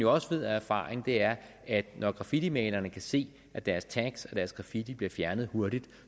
også af erfaring er at når graffitimalerne kan se at deres tags og deres graffiti bliver fjernet hurtigt